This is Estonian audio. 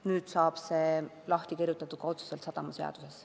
Nüüd saab see kirjutatud ka otseselt sadamaseadusse.